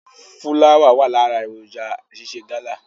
Fúláwà wà ní ara èròǹjà ṣíṣe gálà.